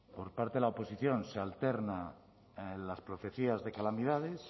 por parte de la oposición se alterna en las profecías de calamidades